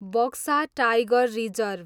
Buxa tiger reserve